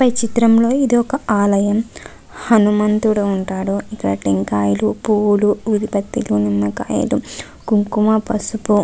పై చిత్రంలో ఇది ఒక ఆలయం హనుమంతుడు ఉంటాడు ఇక్కడ టెంకాయలు పువ్వులు కాయలు కుంకుమ ప్రసుపు.